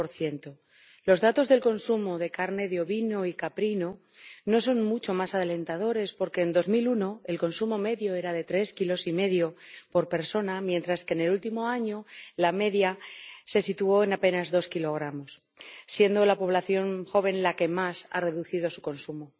20 Los datos del consumo de carne de ovino y caprino no son mucho más alentadores, porque en 2001 el consumo medio era de 3,5 kilos por persona, mientras que en el último año la media se situó en apenas 2 kilogramos, siendo la población joven la que más ha reducido su consumo.